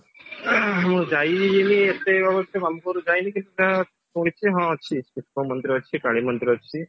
ମୁଁ ଯାଇନି ଆଁ ଏତେ ଅବଶ୍ୟ ମାମୁଁଙ୍କ ଘର ଯାଇନି କିଛି ଟା ଶୁଣିଛି ହଁ ଅଛି ଶିବଙ୍କ ମନ୍ଦିର ଅଛି କାଳୀଙ୍କ ମନ୍ଦିର ଅଛି